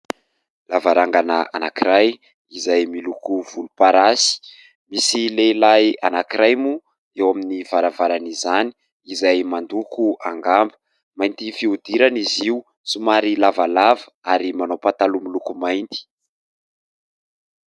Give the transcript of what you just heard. Lavarangana anankiray izay miloko volomparasy. Misy lehilahy anankiray moa eo amin'ny varavaran'izany izay mandoko angamba. Mainty fihodirana izy io, somary lavalava ary manao pataloa miloko mainty.